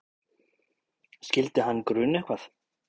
Skyldi hann gruna eitthvað?